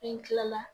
N kilala